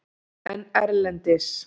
En erlendis?